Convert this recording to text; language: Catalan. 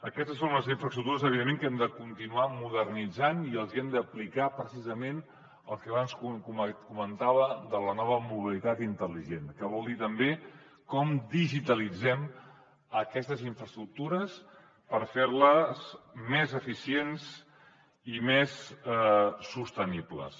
aquestes són les infraestructures evidentment que hem de continuar modernitzant i els hi hem d’aplicar precisament el que abans comentava de la nova mobilitat intel·ligent que vol dir també com digitalitzem aquestes infraestructures per ferles més eficients i més sostenibles